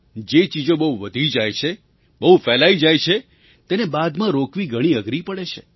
જે ચીજો બહુ વધી જાય છે બહુ ફેલાઈ જાય છે તેને બાદમાં રોકવી ઘણી અઘરી પડે છે